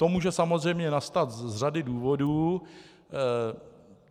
To může samozřejmě nastat z řady důvodů.